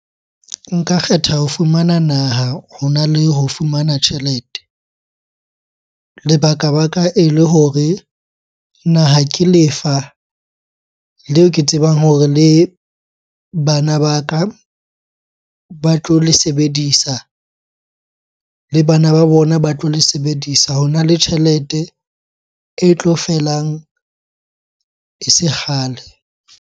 Nka kgetha ho fumana naha hona le ho fumana tjhelete. Lebaka-baka ele hore naha ke lefa leo ke tsebang hore le bana ba ka ba tlo le sebedisa, le bana ba bona ba tlo le sebedisa. Hona le tjhelete e tlo felang e se kgale.